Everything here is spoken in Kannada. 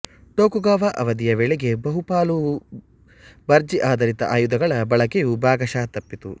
ಟೊಕುಗವಾ ಅವಧಿಯ ವೇಳೆಗೆ ಬಹುಪಾಲು ಭರ್ಜಿಆಧರಿತ ಆಯುಧಗಳ ಬಳಕೆಯು ಭಾಗಶಃ ತಪ್ಪಿತ್ತು